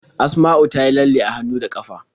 Asma'u ta yi lalle a hannu da ƙafa.